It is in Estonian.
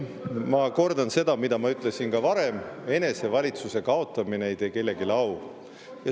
Ma kordan seda, mida ma ütlesin ka varem: enesevalitsuse kaotamine ei tee kellelegi au.